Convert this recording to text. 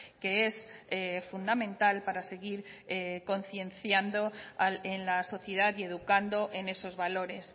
que es fundamental para seguir concienciando en la sociedad y educando en esos valores